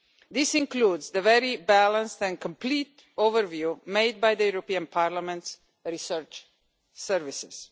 This includes the very balanced and complete overview made by the European Parliament's research services.